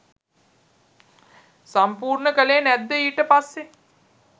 සම්පූර්ණ කලේ නැද්ද ඊට පස්සේ?